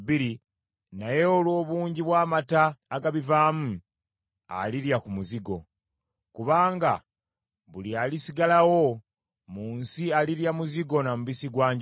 naye olw’obungi bw’amata agabivaamu, alirya ku muzigo. Kubanga buli alisigalawo mu nsi alirya muzigo na mubisi gwa njuki.